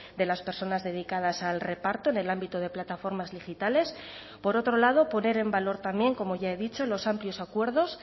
de las personas dedicadas al reparto en el ámbito de plataformas digitales por otro lado poner en valor también como ya he dicho los amplios acuerdos